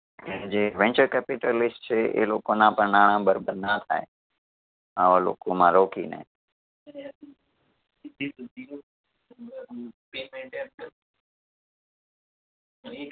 કે જે venture capitalist છે એ લોકોના પણ નાણાં બરબાદ ના થાય આવા લોકોમાં રોકીને